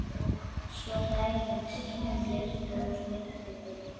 Svo hlær hún sínum bjarta og smitandi hlátri.